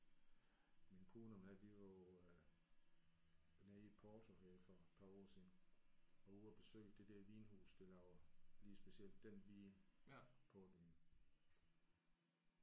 Min kone og mig vi var jo øh nede i Portugal for et par år siden og ude at besøge det der vinhus der laver lige specielt den hvide portvin